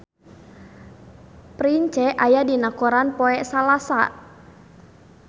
Prince aya dina koran poe Salasa